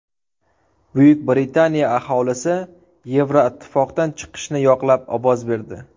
Buyuk Britaniya aholisi Yevroittifoqdan chiqishni yoqlab ovoz berdi .